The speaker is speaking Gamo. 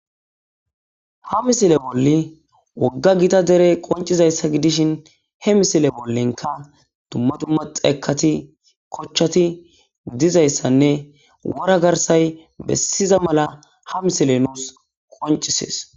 Ha misile bolli wogga gita dere qoncizayssa gidishin he misile bollenka dumma dumma xeekati kochchati gidizayssanne wora garsay bessiza mala ha misile nous qoncisees